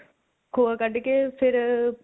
ਖੋਆ ਕੱਢ ਕੇ ਫਿਰ